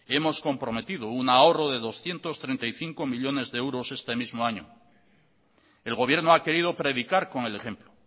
hemos comprometido un ahorro de doscientos treinta y cinco millónes de euros este mismo año el gobierno ha querido predicar con el ejemplo